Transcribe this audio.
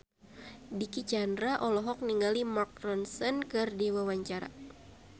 Dicky Chandra olohok ningali Mark Ronson keur diwawancara